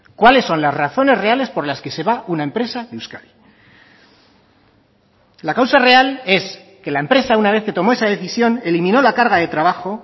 cuáles son las razones reales por las que se va una empresa de euskadi la causa real es que la empresa una vez que tomó esa decisión eliminó la carga de trabajo